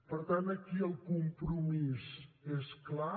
per tant aquí el compromís és clar